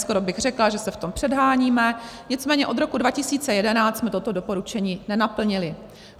Skoro bych řekla, že se v tom předháníme - nicméně od roku 2011 jsme toto doporučení nenaplnili.